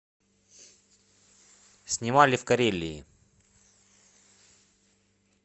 снимали в карелии